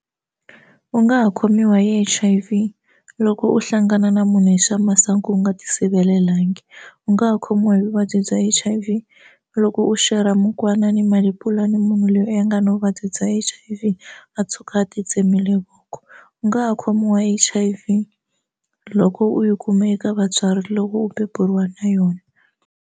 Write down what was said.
U nga ha khomiwa hi H_I_V loko u hlangana na munhu hi swa masangu u nga ti sirhelelangi u nga ha khomiwa hi vuvabyi bya H_I_V loko u xerha mukwana ni malepula ni munhu loyi a nga na vuvabyi bya H_I_V a tshuka a ti tsemile voko u nga ha khomiwa H_I_V loko u yi kume eka vatswari loko u beburiwa na yona.